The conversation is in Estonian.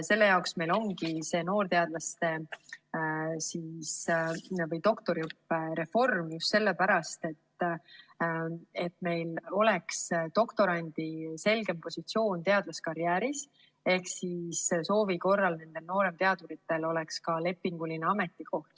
Selle jaoks ongi noorteadlaste või doktoriõppe reform, et doktorandil oleks selgem positsioon teadlaskarjääris, ehk soovi korral oleks nooremteaduritel ka lepinguline ametikoht.